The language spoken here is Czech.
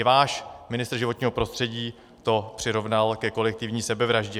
I váš ministr životního prostředí to přirovnal ke kolektivní sebevraždě.